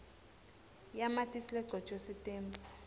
yamatisi legcotjwe sitembu